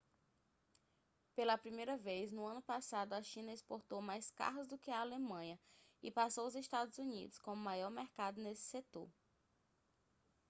pela primeira vez no ano passado a china exportou mais carros do que a alemanha e passou os estados unidos como maior mercado nesse setor